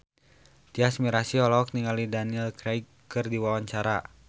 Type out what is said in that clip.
Tyas Mirasih olohok ningali Daniel Craig keur diwawancara